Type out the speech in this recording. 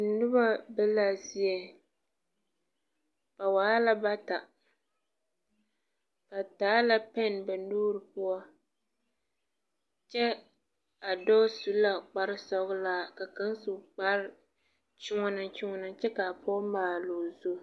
Noba be la a zie. Ba waa la bata. Ba taa la pɛn ba nuure poʊ. Kyɛ a doɔ su la kpar sɔglaa ka kang su kpar yuɔneyuɔne kyɛ ka a poge maale o zu.